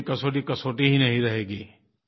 फिर कभी कसौटी कसौटी ही नहीं रहेगी